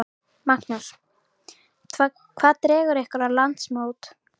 Magnús: Hvað dregur ykkur á landsmót?